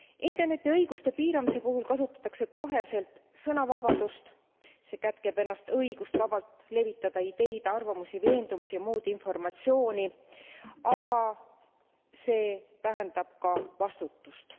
Interneti õiguste piiramise puhul kasutatakse koheselt sõnavabadust, see kätkeb endas õigust vabalt levitada ideid, arvamusi, veendumusi ja muud informatsiooni, aga see tähendab ka vastutust.